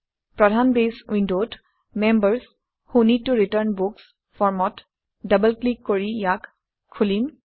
প্ৰধান বেছ উইণ্ডত members who need to return books ফৰ্মত ডবল ক্লিক কৰি ইয়াক খোলিম